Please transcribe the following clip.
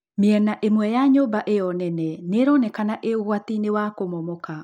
Mĩena ĩmwe ya nyũmba ĩo nene nĩ ĩronekana ĩ ũgwatinĩ wa kũmomoka.